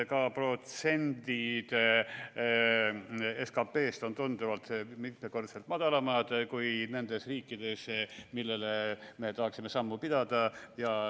Ka protsendid SKT-st on tunduvalt, mitmekordselt madalamad kui nendes riikides, millega me tahaksime sammu pidada.